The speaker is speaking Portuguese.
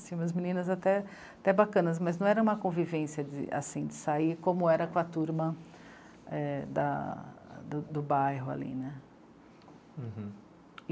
umas meninas até, até bacanas, mas não era uma convivência assim de sair, como era com a turma é... da... do do bairro ali, né? Uhum